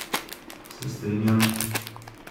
Se strinjam.